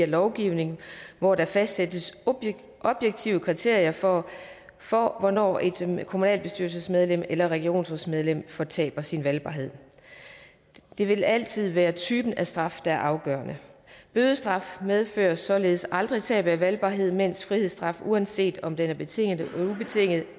lovgivning hvor der fastsættes objektive kriterier for for hvornår et kommunalbestyrelsesmedlem eller regionsrådsmedlem fortaber sin valgbarhed det vil altid være typen af straf der er afgørende bødestraf medfører således aldrig tab af valgbarhed mens frihedsstraf uanset om den er betinget eller ubetinget